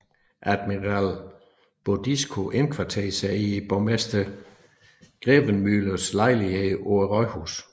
Admiral Bodisco indkvarterede sig i borgmester Grevemühles lejlighed på rådhuset